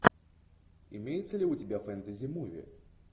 имеется ли у тебя фэнтези муви